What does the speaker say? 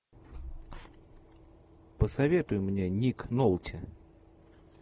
посоветуй мне ник нолти